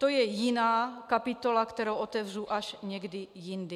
To je jiná kapitola, kterou otevřu až někdy jindy.